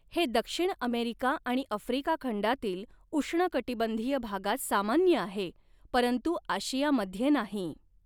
हे दक्षिण अमेरिका आणि आफ्रिका खंडातील उष्णकटिबंधीय भागात सामान्य आहे, परंतु आशियामध्ये नाही.